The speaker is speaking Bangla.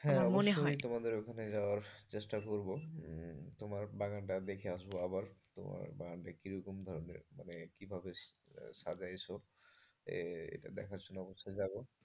হ্যাঁ মনে হয় হ্যাঁ অবশ্যই তোমাদের ওখানে যাওয়ার চেষ্টা করব। তোমার বাগানটা দেখে আসবো আবার বাগানটা কিরকম ধরনের মানে কি রকম সাজায়ে ছো, এটা দেখার জন্য অবশ্যই যাবো।